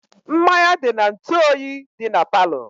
Mmanya dị n'ntu oyi dị na palo